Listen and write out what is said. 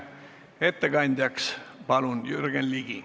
Ettekandjaks palun Jürgen Ligi.